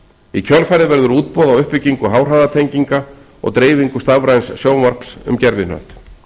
í kjölfarið verður útboð á uppbyggingu háhraðatenginga og dreifingu stafræns sjónvarps um gervihnött